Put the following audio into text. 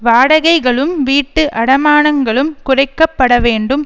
வாடகைகளும் வீட்டு அடமானங்களும் குறைக்கப்படவேண்டும்